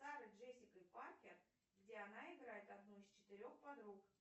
с сарой джессикой паркер где она играет одну из четырех подруг